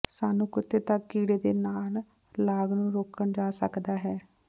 ਸਾਨੂੰ ਕੁੱਤੇ ਤੱਕ ਕੀੜੇ ਦੇ ਨਾਲ ਲਾਗ ਨੂੰ ਰੋਕਣ ਜਾ ਸਕਦਾ ਹੈ